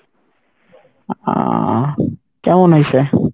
ও কেমন হইছে?